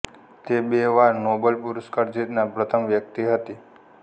તે બે વાર નોબેલ પુરસ્કાર જીતનાર પ્રથમ વ્યક્તિ હતી